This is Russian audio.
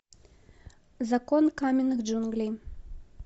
закон каменных джунглей